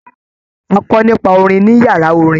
A kọ nípa orin ní yàrá orin.